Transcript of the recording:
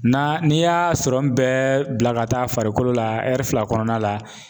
Na n'i y'a sɔrɔ bɛɛ bila ka taa farikolo la fila kɔnɔna la